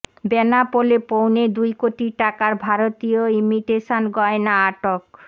বেনাপোলে পৌনে দুই কোটি টাকার ভারতীয় ইমিটেশন গয়না আটক